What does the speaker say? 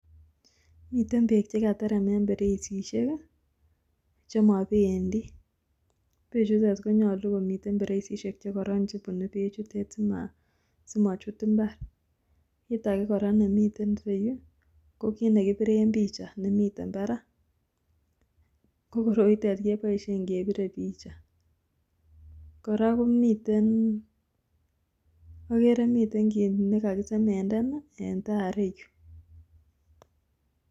Miten beek chekaterem en bereisieik chemobendi, beechutet konyolu komiten bereisieik chekoron chebunee beechutet simochut mbar, kitake nemiten ireyu kokit nekibiren picha nemiten parak kokoroitet keboisien kebire picha, kora komiten akere miten kit nekakisemenden en taa ireyu.